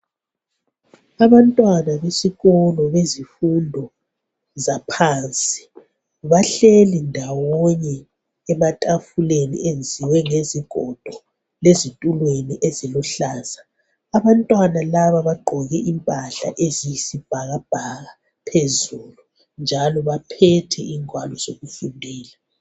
Abantwana besikolo bezifundo zaphansi bahleli ndawonye ematafuleni enziwe ngezigodo lezitulweni eziluhlaza. Abantwana laba bagqoke impahla eziyisibhakabhaka phezulu, njalo baphethe ingwalo zokufundela.